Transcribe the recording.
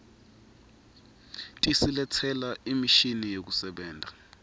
tisiletsela imishini yekusebenta